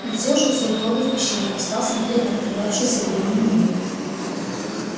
он съёжился у входа в пещеру и стал смотреть на открывшийся перед ним мир